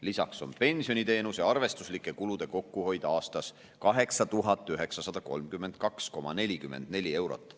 Lisaks on pensioniteenuse arvestuslike kulude kokkuhoid aastas 8932,44 eurot.